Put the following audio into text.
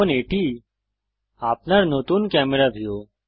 এখন এটি আপনার নতুন ক্যামেরা ভিউ